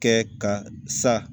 Kɛ ka sa